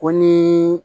Ko ni